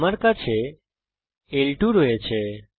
আমার কাছে L 2 আছে